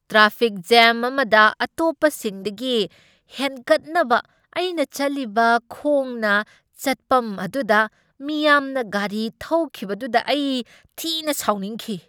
Traffic jam ꯑꯃꯗ ꯑꯇꯣꯞꯄꯁꯤꯡꯗꯒꯤ ꯍꯦꯟꯒꯠꯅꯕ, ꯑꯩꯅ ꯆꯠꯂꯤꯕ ꯈꯣꯡꯅ ꯆꯠꯄꯝ ꯑꯗꯨꯗ ꯃꯤꯌꯥꯝꯅ ꯒꯥꯔꯤ ꯊꯧꯈꯤꯕꯗꯨꯗ ꯑꯩ ꯊꯤꯅ ꯁꯥꯎꯅꯤꯡꯈꯤ꯫